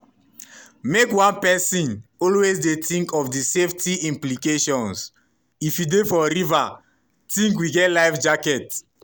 "make one pesin always dey tink of di safety implications - if you dey for river tink we get life jacket?